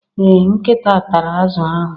Ee Nkita tara azu ahụ